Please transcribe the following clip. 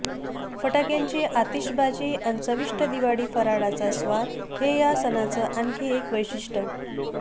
फटाक्यांची आतिषबाजी अन चविष्ट दिवाळी फराळाचा स्वाद हे ह्या सणाच आणखी एक वैशिष्ट्य